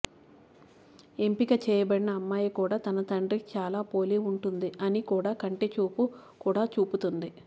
ఎంపిక చేయబడిన అమ్మాయి కూడా తన తండ్రికి చాలా పోలి ఉంటుంది అని కూడా కంటి చూపు కూడా చూపుతుంది